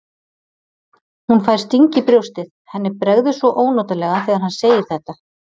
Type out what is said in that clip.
Hún fær sting í brjóstið, henni bregður svo ónotalega þegar hann segir þetta.